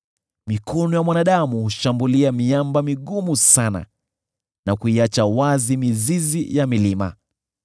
Mikono ya mwanadamu hushambulia miamba migumu sana, na kuiacha wazi mizizi ya milima.